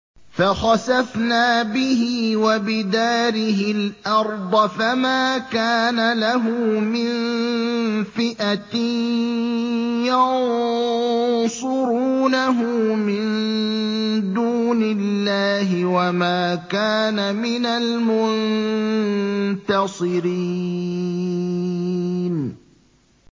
فَخَسَفْنَا بِهِ وَبِدَارِهِ الْأَرْضَ فَمَا كَانَ لَهُ مِن فِئَةٍ يَنصُرُونَهُ مِن دُونِ اللَّهِ وَمَا كَانَ مِنَ الْمُنتَصِرِينَ